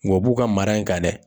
Nka, u b'u ka mara in kan dɛ.